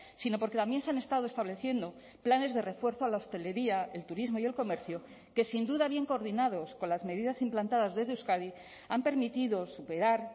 sino porque también se han estado estableciendo planes de refuerzo a la hostelería el turismo y el comercio que sin duda bien coordinados con las medidas implantadas desde euskadi han permitido superar